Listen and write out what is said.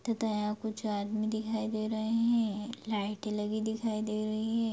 तथा यहाँ कुछ आदमी दिखाई दे रहे हैं लाइटें लगी दिखाई दे रही हैं।